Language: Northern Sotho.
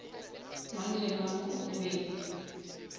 mang le mang o be